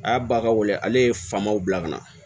A y'a ba ka wele ale ye famaw bila ka na